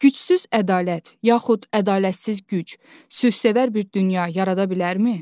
Gücsüz ədalət, yaxud ədalətsiz güc, sülhsevər bir dünya yarada bilərmi?